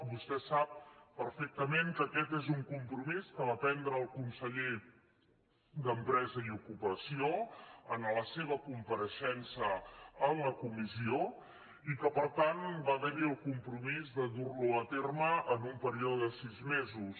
vostè sap perfec·tament que aquest és un compromís que va prendre el conseller d’empresa i ocupació en la seva compa·reixença en la comissió i que per tant va haver·hi el compromís de dur·lo a terme en un període de sis me·sos